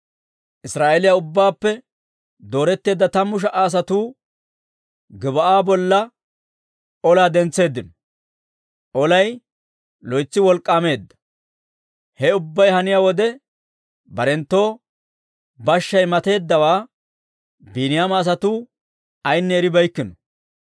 Israa'eeliyaa ubbaappe dooretteedda tammu sha"a asatuu Gib'aa bolla olaa dentseeddino; olay loytsi wolk'k'aameedda. He ubbay haniyaa wode, barenttoo bashshay matatteeddawaa Biiniyaama asatuu ayinne eribeeykkino.